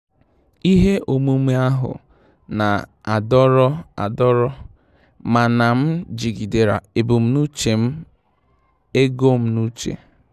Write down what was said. Ihe omume ahụ na-adọrọ adọrọ, mana m jigidere ebumnuche ego m n'uche.